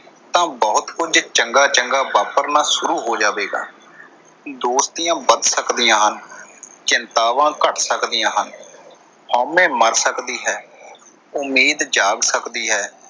ਤਾਂ ਬਹੁਤ ਕੁਝ ਚੰਗਾ ਚੰਗਾ ਵਾਪਰਨਾ ਸ਼ੁਰੂ ਹੋ ਜਾਵੇਗਾ। ਦੋਸਤੀਆਂ ਬਚ ਸਕਦੀਆਂ ਹਨ, ਚਿੰਤਾਵਾਂ ਘੱਟ ਸਕਦੀਆਂ ਹਨ, ਹਉਮੈ ਮਰ ਸਕਦੀ ਹੈ, ਉਮੀਦ ਜਾਗ ਸਕਦੀ ਹੈ।